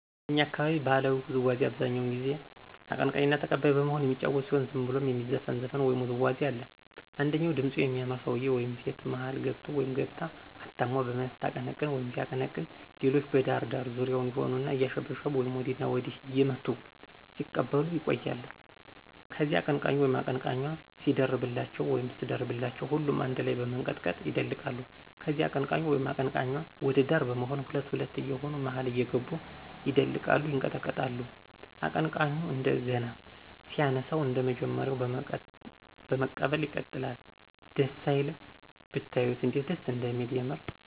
የእኛ አካባቢ ባህላዊ ውዝዋዚ አብዛኛው ጊዜ አቀንቃኝና ተቀባይ በመሆን የሚጫወቱት ሲሆን ዝም ብሎም የሚዘፈን ዘፈን ወይም ውዝዋዜ አለ። አንደኛው ድምጹ የሚያምር ሰውየ ወይም ሴት መሀል ገብቶ/ገብታ አታሞ በመያዝ ስታቀነቅን/ሲያቀነቅን ሌሎች በዳር ዳር ዙሪያውን ይሆኑና አያሸበሸቡ ወይም ወዲያና ወዲህ እየመቱ ሲቀበሉ ይቆያሉ። ከዚያ አቀነቃኙ/ኟ ሲደርብላቸው ወይም ስትደርብላቸው ሁሉም አነድ ላይ በመንቀጥቀጥ ይደልቃሉ። ከዚያ አቀንቃኙ/ኟ ወደ ዳር በመሆን ሁለት ሁለት የየሆኑ መሀል እየገቡ ይደልቃሉ፤ ይንቀጠቀጣሉ። አቀንቃኙ እንደገና ሲያነሳው አንደመጀመሪያው በመቀበል ይቀጥላል። ደስ አይልም?!! ብታዩት እንዴት ደስ እንደሚል የምር።